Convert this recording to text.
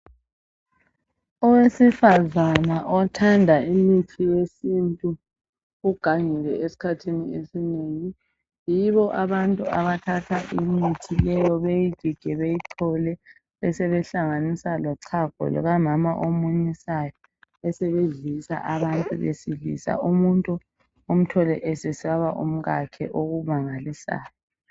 Owesifazana othanda imithi yesintu ugangile esikhathini esinengi yibo abantu abathatha imithi leyo beyigige beyichole besebe hlanganisa lochago lukamama omunyisayo besebedlisa abantu besilisa umuntu umthole esesaba umkakhe okumangalisayo.